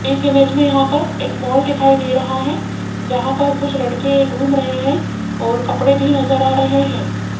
इस इमेज में यहां पर एक मॉल दिखाई दे रहा हैं जहां पर कुछ लड़के घूम रहे हैं और कपड़े भी नजर आ रहे हैं।